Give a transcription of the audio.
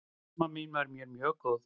Amma mín var mér mjög góð.